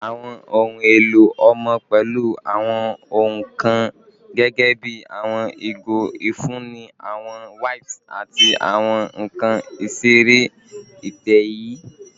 Awọn ohun elo ọmọ pẹlu awọn ohun kan gẹgẹbi awọn igo ifunni, awọn wipes, ati awọn nkan isere itẹ-ẹiyẹ